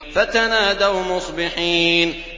فَتَنَادَوْا مُصْبِحِينَ